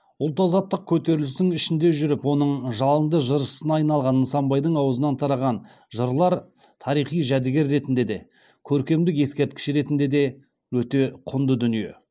ұлт азаттық көтерілісінің ішінде жүріп оның жалынды жыршысына айналған нысанбайдың аузынан тараған жырлар тарихи жәдігер ретінде де көркемдік ескерткіш ретінде де өте құнды дүние